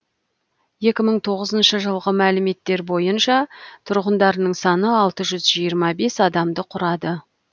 екі мың тоғызыншы жылғы мәліметтер бойынша тұрғындарының саны алты жүз жиырма бес адамды құрады